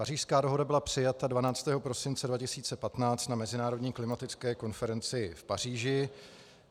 Pařížská dohoda byla přijata 12. prosince 2015 na mezinárodní klimatické konferenci v Paříži.